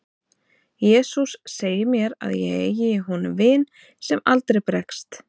jesús segir mér að ég eigi í honum vin sem aldrei bregst